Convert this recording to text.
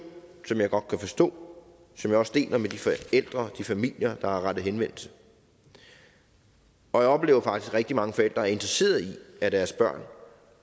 som jeg godt kan forstå og som jeg også deler med de forældre og de familier der har rettet henvendelse jeg oplever faktisk at rigtig mange forældre er interesseret i at deres børn